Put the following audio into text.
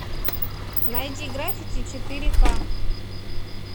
найди граффити четыре ка